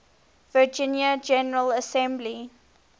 virginia general assembly